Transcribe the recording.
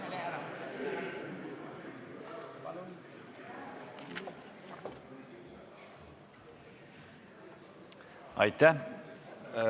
Aitäh!